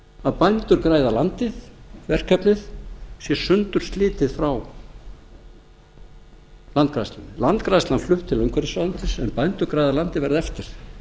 að bændur græða landið verkefnið sé sundurslitið frá landgræðslunni landgræðslan flutt til umhverfisráðuneytis en bændur græða landið verður eftir